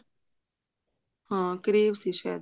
ਹਾਂ crave ਸੀ ਸ਼ਾਇਦ